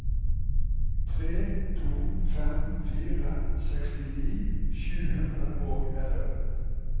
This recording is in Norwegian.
tre to fem fire sekstini sju hundre og elleve